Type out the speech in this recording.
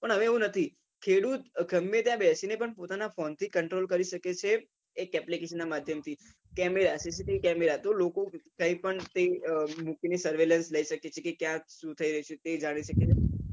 પણ હવે એવું નથી ખેડૂત ગમે ત્યા બેસી ને પોતાના ફોન થી control કરી શકે છે એક application ના માધ્યમ થી camera CCTV camera તો લોકો કઈ પણ મૂકી ને કે ક્યાં શું થઇ રહ્યું છે